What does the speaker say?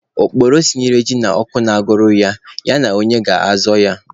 Okpokoro sinyere ji n'ọkụ na-agụrụ ya, ya na onye na-azọ ya?